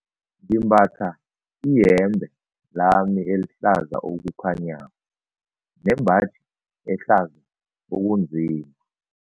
Ngimbatha iyembe lami elihlaza okukhanyako nembaji ehlaza okunzima.